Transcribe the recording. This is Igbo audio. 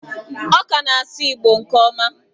Ọ ka na-asụ Igbo nke ọma.